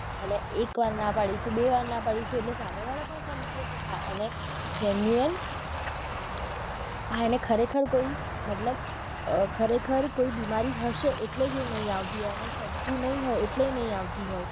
અને એક વાર ના પાડીશુ બે વાર ના પાડીશુ એટલે સામે વાળા પણ સમજી જશે હા એને genuine આને ખરેખર કોઈ મતલબ અ ખરેખર કોઈ બીમારી હશે એટલે એ નહિ આવતી હોય એને સદતુ નહિ હોય એટલે એ નહિ આવતી હોય.